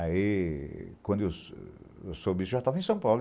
Aí, quando eu sou soube isso, eu já estava em São Paulo.